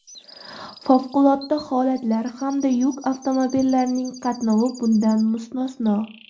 Favqulodda holatlar hamda yuk avtomobillarining qatnovi bundan mustasno.